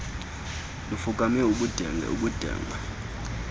lufukame ubudenge ubudenge